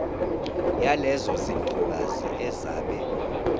yalezo zintokazi ezabe